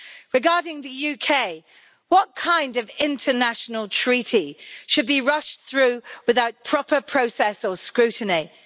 Regarding the UK, what kind of international treaty should be rushed through without proper process or scrutiny?